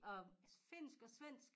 Og finsk og svensk